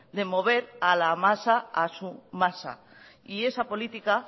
de mover a la masa a su masa y esa política